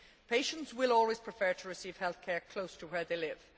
Patients will always prefer to receive health care close to where they live.